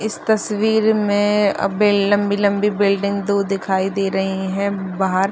इस तस्वीर में अब्बे लम्बी - लम्बी बिल्डिंग दो दिखाई दे रही हैं बाहर --